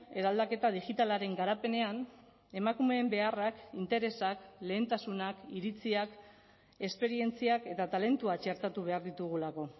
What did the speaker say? eraldaketa digitalaren garapenean emakumeen beharrak interesak lehentasunak iritziak esperientziak eta talentua txertatu behar ditugulako